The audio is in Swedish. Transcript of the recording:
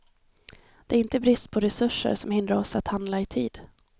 Det är inte brist på resurser som hindrar oss att handla i tid.